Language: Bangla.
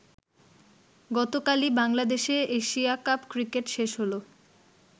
গতকালই বাংলাদেশে এশিয়া কাপ ক্রিকেট শেষ হলো।